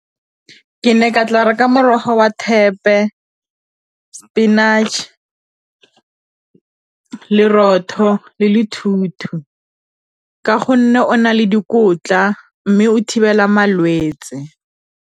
Ke ne ke tla reka morogo wa thepe, spinach lerotho le ka gonne o na le dikotla mme o thibela malwetse.